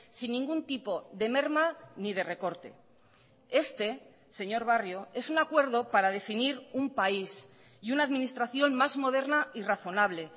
sin ningún tipo de merma ni de recorte este señor barrio es un acuerdo para definir un país y una administración más moderna y razonable